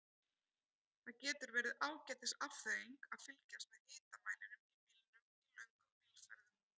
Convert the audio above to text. Það getur verið ágætis afþreying að fylgjast með hitamælinum í bílnum í löngum bílferðum.